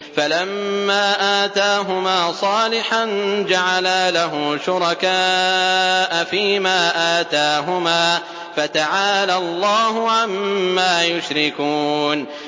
فَلَمَّا آتَاهُمَا صَالِحًا جَعَلَا لَهُ شُرَكَاءَ فِيمَا آتَاهُمَا ۚ فَتَعَالَى اللَّهُ عَمَّا يُشْرِكُونَ